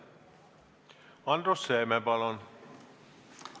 Andrus Seeme, palun!